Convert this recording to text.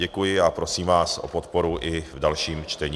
Děkuji a prosím vás o podporu i v dalším čtení.